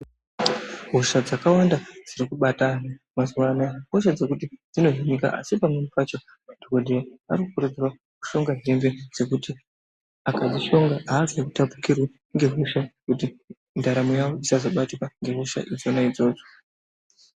Hosha dzakawanda dziri kubata mazuwa ano ihosha dzekuti dzinovhiringa asi pamweni pacho madhokodheya ari kukurudzirwa kuti kushonga hembe dzekuti akadzishonga azotapukirwi.